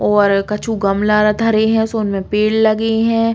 और कछु गमला रा धरे हैं सो उनमे पेड़ लगे हैं।